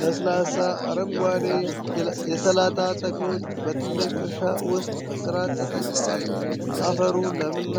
ለስላሳ አረንጓዴ የሰላጣ ተክሎች በትልቅ እርሻ ውስጥ በሥርዓት ተተክለዋል ። አፈሩ ለም እና